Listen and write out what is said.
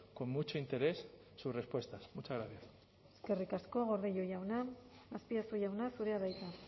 con mucho interés sus respuestas muchas gracias eskerrik asko gordillo jauna azpiazu jauna zurea da hitza